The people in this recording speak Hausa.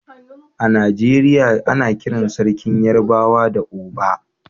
A Najeriya ana kiran Sarkin Yarbawa Oba.